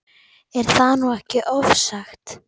Er það nú ekki ofsagt?